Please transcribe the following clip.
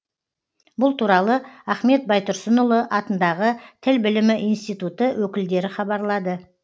бұл туралы ахмет байтұрсынұлы атындағы тіл білімі институты өкілдері хабарлады